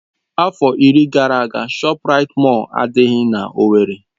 Afọ iri gara aga ShopRite Mọll adịghị n'Owerri.